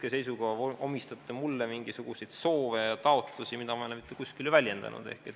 Hetkeseisuga te omistate mulle mingisuguseid soove ja taotlusi, mida ma ei ole mitte kuskil väljendanud.